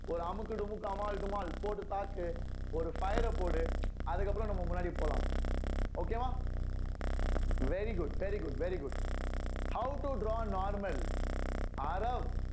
ஒரு அமுக்கு டுமுக்கு அமால் டுமால் போட்டு தாக்கு ஒரு fire அ போடு அதுக்கப்புறம் நம்ம முன்னாடி போலாம் okay வா very good very good very good how to draw normal